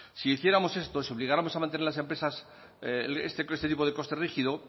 si hiciéramos esto si obligáramos a mantener las empresas este tipo de coste rígido